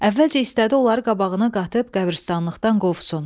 Əvvəlcə istədi onları qabağına qatıb qəbiristanlıqdan qovsun.